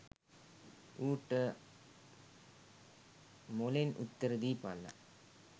ඌට මොළෙන් උත්තර දීපල්ල